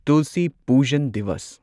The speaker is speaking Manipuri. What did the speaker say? ꯇꯨꯜꯁꯤ ꯄꯨꯖꯟ ꯗꯤꯋꯁ